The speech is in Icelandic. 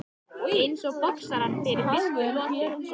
Eins og boxarar fyrir fyrstu lotu.